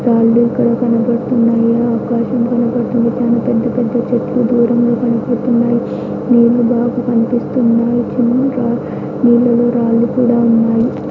రాళ్లు ఇక్కడ కనబడుతున్నాయి. ఆకాశం కనబడుతోంది. పెద్ద పెద్ద చెట్లు దూరంగా కనబడుతున్నాయి. నీళ్లు బాగా కనిపిస్తున్నాయి. చిన్నగా రా నీళ్లలో రాళ్లు కూడా ఉన్నాయి.